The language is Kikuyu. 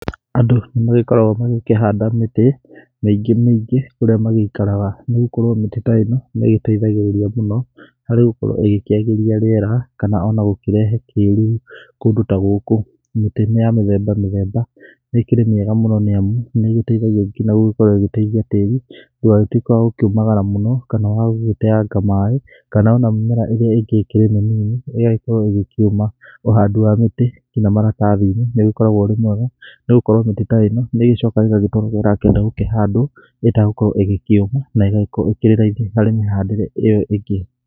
Andũ nĩ magĩkoragwo magĩkĩhanda mĩtĩ mĩngĩ mĩngĩ kũrĩa magĩikaraga. Nĩ gũkorwo mĩtĩ ta ĩno nĩ ĩgĩteithagĩrĩria mũno harĩ gũkorwo ĩgĩkĩagĩria rĩera kana ona gũkĩrehe kĩruru kũndũ ta gũkũ. Mĩtĩ nĩ ya mĩthemba mĩthemba nĩ ĩkĩrĩ mĩega mũno nĩ amu nĩ ĩgĩteithagia nginya gũgĩkorwo ĩgĩteithia tĩri ndũgagĩtuĩke wa gũkĩũmagara mũno kana wa gũgĩtenga maaĩ. Kana ona mĩmera ĩrĩa ĩngĩ ĩkĩrĩ mĩnini ĩgagĩkorwo ĩgĩkĩũma. Ũhandi wa mĩtĩ nginya maratathi-inĩ nĩ ũgĩkoragwo ũrĩ mwega nĩ gũkorwo mĩtĩ ta ĩno nĩ ĩgĩcokaga ĩgagĩtwarwo kũrĩa ĩrakĩenda gũkĩhandwo ĩtagũkorwo ĩgĩkĩũma na ĩgagĩkorwo ĩkĩrĩ raithi harĩ mĩhandĩre ĩyo ĩngĩ.